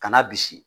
Kana bisi